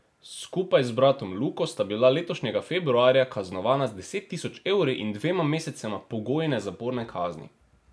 Skupaj z bratom Luko sta bila letošnjega februarja kaznovana z deset tisoč evri in dvema mesecema pogojne zaporne kazni.